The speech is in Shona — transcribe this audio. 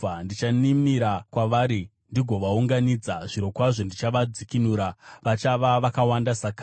Ndichaninira kwavari ndigovaunganidza. Zvirokwazvo ndichavadzikinura, vachava vakawanda sakare.